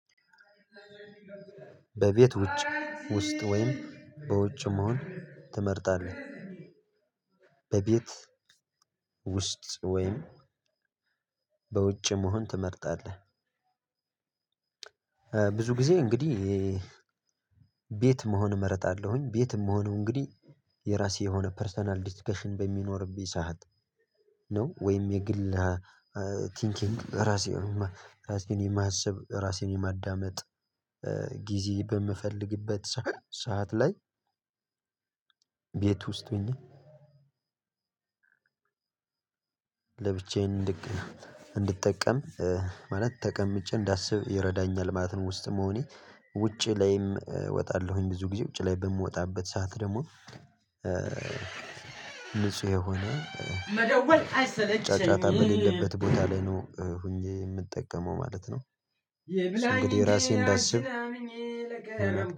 "በቤት ውጭ ውስጥ ወይም በውጭ መሆን ትመርጣለህ?" "በቤት ውስጥ ወይም በውጭ መሆን ትመርጣለህ?" ብዙ ጊዜ እንግዲህ ቤት መሆን እመርጣለሁኝ። ቤት እምሆነው እንግዲህ የራሴ የሆነ ፐርሰናል ዲስከሽን በሚኖርብኝ ሰዓት ነው ወይም የግል ቲንኪንግ ራሴን ራሴን የማሰብ ራሴን የማዳመጥ ጊዜ በምፈልግበት ሰ ሰዓት ላይ ቤት ውስጥ ሆኜ ለብቻዬን እንድቅ እንድጠቀም ማለት ተቀምጬ እንዳስብ ይረዳኛል ማለት ነው ውስጥ መሆኔ። ውጪ ላይም እወጣለሁኝ ብዙ ጊዜ ውጪ ላይ በምወጣበት ሰዓት ደግሞ ንጹህ የሆነ ጫጫታ በሌለበት ቦታ ላይ ነው ሆኜ የምጠቀመው ማለት ነው። እንግዲህ ራሴን እንዳስብ